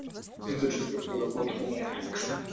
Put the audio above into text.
ну то чувство когда бот умнее алекса